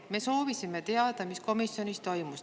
Me soovisime teada, mis komisjonis toimus.